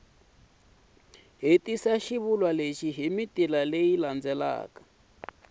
lexi hi mitila leyi nga